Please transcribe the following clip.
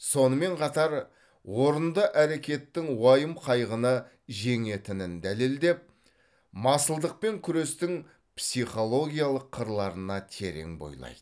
сонымен қатар орынды әрекеттің уайым қайғыны жеңетінін дәлелдеп масылдықпен күрестің психологиялық қырларына терең бойлайды